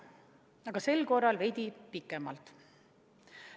Aga sel korral mõtlesin veidi pikemalt.